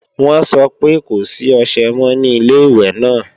Wọ́n sọ pé kò sí ọṣẹ mọ́ ní Ilé-ìwẹ̀ náà